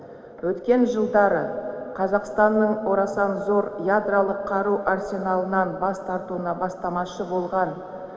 өткен жылдары қазақстанның орасан зор ядролық қару арсеналынан бас тартуына бастамашы болған